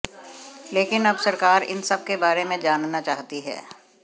लेकिन अब सरकार इन सब के बारे में जानना चाहती है